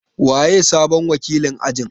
Waye sabon wakilin ajin?